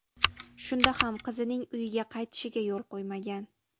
Shunda ham qizining uyiga qaytishiga yo‘l qo‘ymagan.